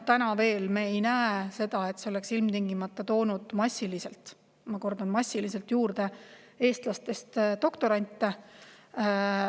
Me veel ei näe, et see oleks ilmtingimata toonud massiliselt – ma kordan: massiliselt – juurde eestlastest doktorante.